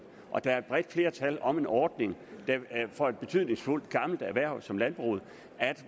og der er et bredt flertal om en ordning for et betydningsfuldt gammelt erhverv som landbruget